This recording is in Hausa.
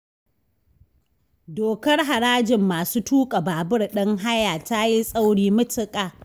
Dokar harajin masu tuƙa babur din haya ta yi tsauri matuƙa